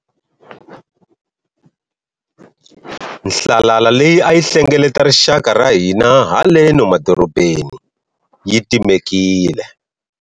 Nhlalala leyi a yi hlengeleta rixaka ra hina haleno madorobeni yi timekile.